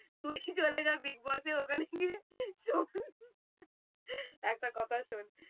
তুই চলে যা big boss এর ওখানে গিয়ে শোন একটা কথা শোন